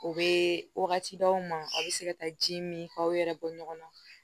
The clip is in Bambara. U bɛ wagati d'aw ma a bɛ se ka taa ji min k'aw yɛrɛ bɔ ɲɔgɔn na